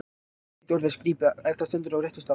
Ekkert orð er skrípi, ef það stendur á réttum stað.